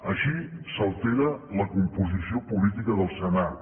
així s’altera la composició política del senat